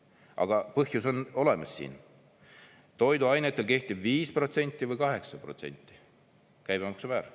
Aga põhjus on olemas siin: toiduainetele kehtib 5% või 8% käibemaksumäär.